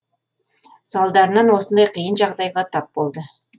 салдарынан осындай қиын жағдайға тап болды